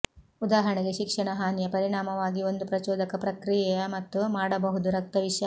ಉದಾಹರಣೆಗೆ ಶಿಕ್ಷಣ ಹಾನಿಯ ಪರಿಣಾಮವಾಗಿ ಒಂದು ಪ್ರಚೋದಕ ಪ್ರಕ್ರಿಯೆಯ ಮತ್ತು ಮಾಡಬಹುದು ರಕ್ತ ವಿಷ